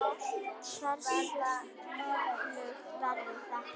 Hversu öflugt verður þetta?